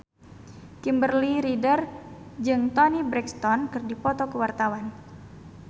Kimberly Ryder jeung Toni Brexton keur dipoto ku wartawan